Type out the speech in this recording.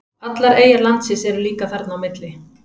allar eyjar landsins eru líka þarna á milli